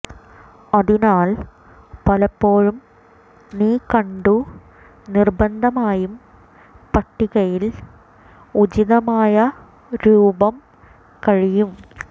അതിനാൽ പലപ്പോഴും നീ കണ്ടു നിര്ബന്ധമായും പട്ടികയിൽ ഉചിതമായ രൂപം കഴിയും